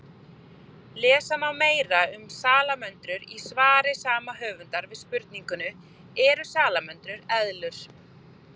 Lesa má meira um salamöndrur í svari sama höfundar við spurningunni Eru salamöndrur eðlur?